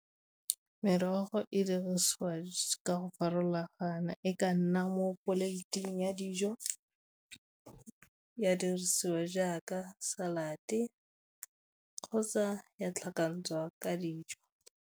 Merogo e dirisiwa ka go farologana e ka nna mo plate-ing ya dijo, ya dirisiwa jaaka salad kgotsa ya tlhakantshwa ka dijo.